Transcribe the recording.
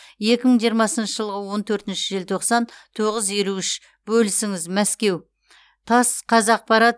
екі мың жиырмасыншы жылғы он төртінші желтоқсан тоғыз елу үш бөлісіңіз мәскеу тасс қазақпарат